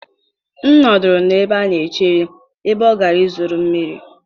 m nọduru n'ebe a na-echere, ebe ọ gara ịzụrụ mmiri